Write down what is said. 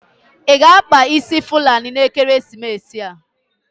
Ị ga-akpa fulani n'ekeresimesi a.